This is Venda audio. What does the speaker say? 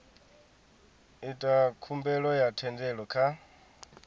ita khumbelo ya thendelo kha